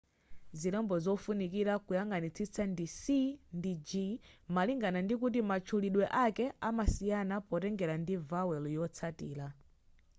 zilembo zofunikira kuziyang'anitsitsa ndi c ndi g malingana ndikuti matchulidwe ake amasiyana potengera ndi vowel yotsatira